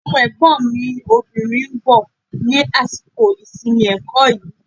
Ọmọ Ẹ̀gbọ́n mi obìnrin ń bọ̀ ní àsìkò ìsinmi ẹ̀kọ́ yìí